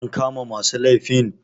an kama masu laifin